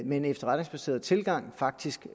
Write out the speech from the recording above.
med en efterretningsbaseret tilgang faktisk